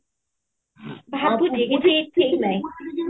overalp